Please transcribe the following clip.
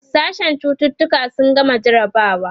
sashen cututuka sun gama jarabawa